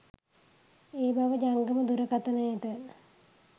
ඒ බව ජංගම දුරකථනයට